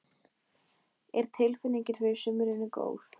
Er tilfinningin fyrir sumrinu góð?